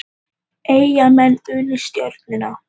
Eyjamenn unnu Stjörnuna